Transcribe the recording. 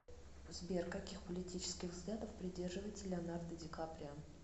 сбер каких политических взглядов придерживается леонардо дикаприо